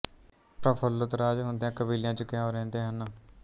ਪ੍ਰਫੁੱਲਤ ਰਾਜ ਹੁੰਦਿਆਂ ਕਬੀਲਿਆਂ ਚ ਕਿਉਂ ਰਹਿੰਦੇ ਹਨ